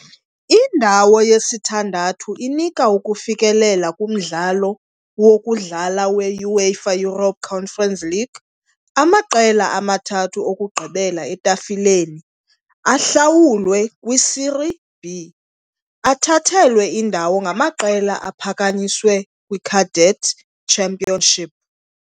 Indawo yesithandathu inika ukufikelela kumdlalo "wokudlala we" -UEFA Europa Conference League . Amaqela amathathu okugqibela etafileni ahlawulwe kwi -Serie B, athathelwe indawo ngamaqela aphakanyiswe kwi-cadet Championship.